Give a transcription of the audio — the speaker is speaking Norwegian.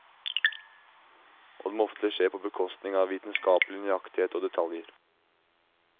Og det må ofte skje på bekostning av vitenskapelig nøyaktighet og detaljer.